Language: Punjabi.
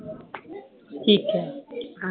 ਠੀਕ ਆ